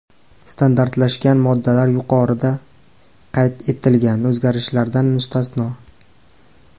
Standartlashgan moddalar yuqorida qayd etilgan o‘zgarishlardan mustasno.